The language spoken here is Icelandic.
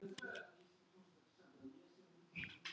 Vinn á henni.